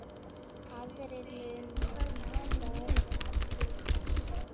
Aðrir munu verða til þess.